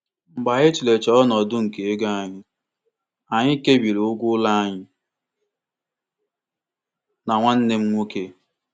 Mgbakọta mmefu Mgbakọta mmefu ego nke di na nwunye ahụ nyere ha ohere ikesa ụgwọ ụlọ n'ụzọ ziri ezi n'etiti ndị niile ha na ha bi.